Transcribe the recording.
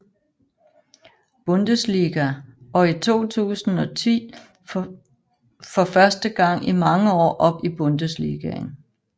Bundesliga og i 2010 for første gang i mange år op i Bundesligaen